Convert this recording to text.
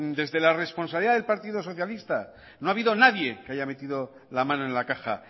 desde la responsabilidad del partido socialista no ha habido nadie que haya metido la mano en la caja